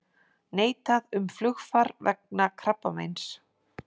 Neitað um flugfar vegna krabbameins